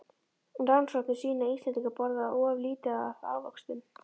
Rannsóknir sýna að Íslendingar borða of lítið af ávöxtum.